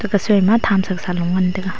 ephai soima thamsa loe ngan taiga.